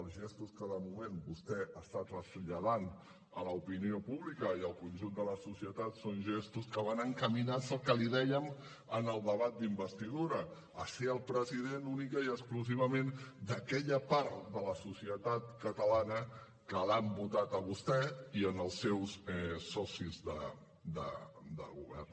els gestos que de moment vostè està traslladant a l’opinió pública i al conjunt de la societat són gestos que van encaminats al que li dèiem en el debat d’investidura a ser el president únicament i exclusivament d’aquella part de la societat catalana que l’ha votat a vostè i als seus socis de govern